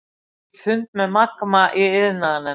Vill fund um Magma í iðnaðarnefnd